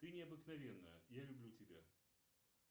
ты необыкновенная я люблю тебя